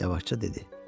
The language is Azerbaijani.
Yavaşca dedi.